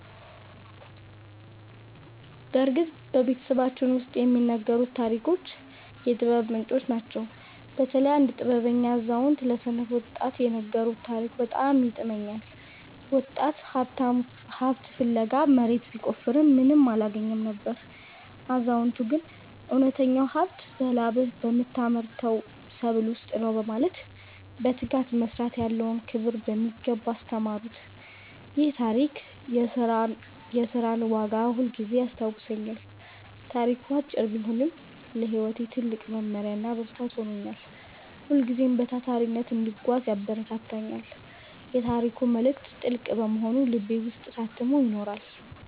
በእርግጥ በቤተሰባችን ውስጥ የሚነገሩት ታሪኮች የጥበብ ምንጮች ናቸው። በተለይ አንድ ጥበበኛ አዛውንት ለሰነፍ ወጣት የነገሩት ታሪክ በጣም ይጥመኛል። ወጣቱ ሀብት ፍለጋ መሬት ቢቆፍርም ምንም አላገኘም ነበር። አዛውንቱ ግን እውነተኛው ሀብት በላብህ በምታመርተው ሰብል ውስጥ ነው በማለት በትጋት መስራት ያለውን ክብር በሚገባ አስተማሩት። ይህ ታሪክ የሥራን ዋጋ ሁልጊዜም ያስታውሰኛል። ታሪኩ አጭር ቢሆንም ለሕይወቴ ትልቅ መመሪያና ብርታት ሆኖኛል። ሁልጊዜም በታታሪነት እንድጓዝ ያበረታታኛል። የታሪኩ መልእክት ጥልቅ በመሆኑ በልቤ ውስጥ ታትሞ ይኖራል።